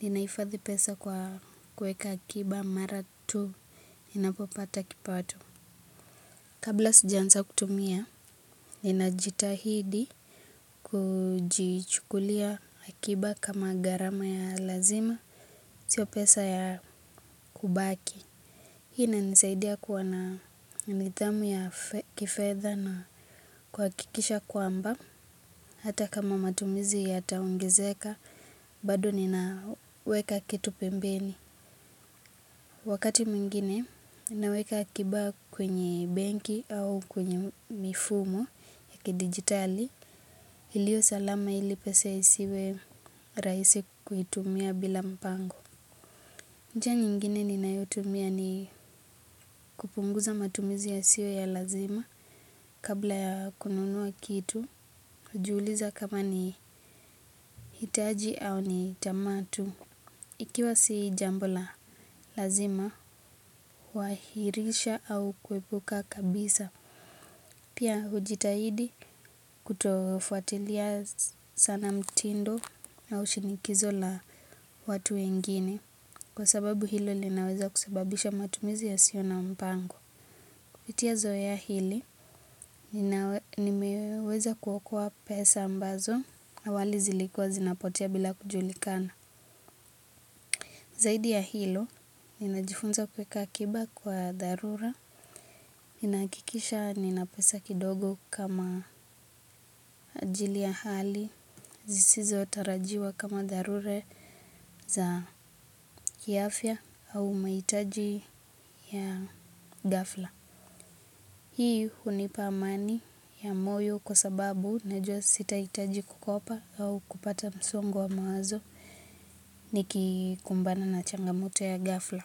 ninahifadhi pesa kwa kuweka akiba mara tu. Ninapopata kipato. Kabla sijaanza kutumia, ninajitahidi kujichukulia akiba kama gharama ya lazima, siyo pesa ya kubaki. Hii inanisaidia kuwa na nidhamu ya kifedha na kuhakikisha kwamba hata kama matumizi yataongezeka bado ninaweka kitu pembeni wakati mwingine naweka akiba kwenye benki au kwenye mifumo ya kidijitali iliyo salama ili pesa isiwe rahisi kuitumia bila mpango njia nyingine ninayotumia ni kupunguza matumizi yasiyo ya lazima kabla ya kununua kitu, hujiuliza kama ni hitaji au ni tamaa tu. Ikiwa si jambo la lazima, huahirisha au kuepuka kabisa. Pia hujitahidi kutofuatilia sana mtindo au shinikizo la watu wengine. Kwa sababu hilo linaweza kusababisha matumizi yasiyo na mpango. Kupitia zoea hili, nimeweza kuokoa pesa ambazo awali zilikuwa zinapotea bila kujulikana. Zaidi ya hilo, ninajifunza kuweka akiba kwa dharura. Ninahakikisha nina pesa kidogo kama ajili ya hali. Zisizo tarajiwa kama dharura za kiafya au mahitaji ya ghafla. Hii hunipa amani ya moyo kwa sababu najua sitahitaji kukopa au kupata msongo wa mawazo nikikumbana na changamoto ya ghafla.